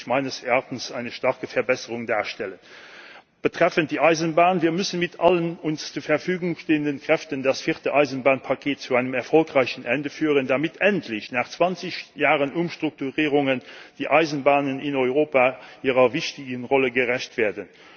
meines Erachtens zusätzlich eine starke Verbesserung darstellen. Betreffend die Eisenbahn müssen wir mit allen uns zur Verfügung stehenden Kräften das vierte Eisenbahnpaket zu einem erfolgreichen Ende führen, damit nach 20 Jahren Umstrukturierungen die Eisenbahnen in Europa endlich ihrer wichtigen Rolle gerecht werden.